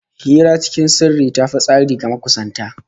Hira cikin sirri ta fi tasiri ga makusanta